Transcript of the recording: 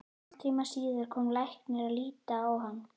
Hálftíma síðar kom læknir að líta á hann.